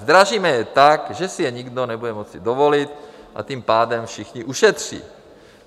Zdražíme je tak, že si je nikdo nebude moci dovolit, a tím pádem všichni ušetří.